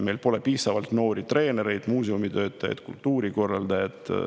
Meil pole piisavalt noori treenereid, muuseumitöötajaid, kultuurikorraldajaid.